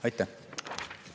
Aitäh!